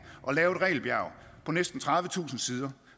at lave et regelbjerg på næsten tredivetusind sider